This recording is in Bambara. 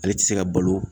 Ale tɛ se ka balo